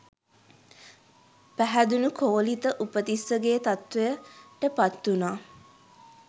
පැහැදුණූ කෝලිත උපතිස්සගේ තත්වයට පත්වුනා.